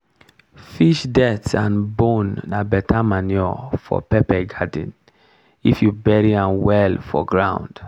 fish dirt and bone na better manure for pepper garden if you bury am well for for ground.